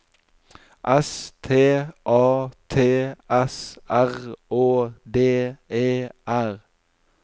S T A T S R Å D E R